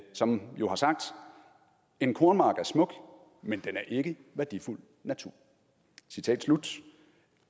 som jo har sagt en kornmark er smuk men den er ikke værdifuld natur citat slut